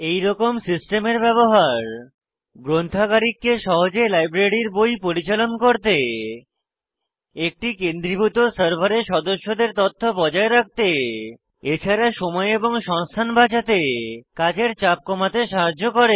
এইরকম সিস্টেমের ব্যবহার গ্রন্থাগারিককে সহজে লাইব্রেরীর বই পরিচালন করতে একটি কেন্দ্রীভূত সার্ভারে সদস্যদের তথ্য বজায় রাখতে এছাড়া সময় এবং সংস্থান বাচাতে কাজের চাপ কমাতে সাহায্য করে